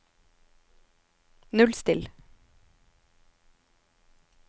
nullstill